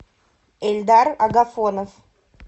эльдар агафонов